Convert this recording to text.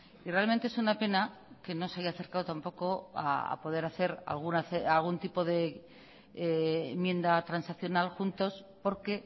y realmente es una pena que no se haya acercado tampoco a poder hacer algún tipo de enmienda transaccional juntos porque